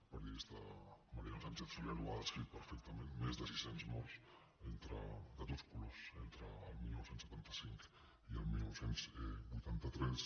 el periodista mariano sánchez soler ho ha descrit perfectament més de sis cents morts de tots colors entre el dinou setanta cinc i el dinou vuitanta tres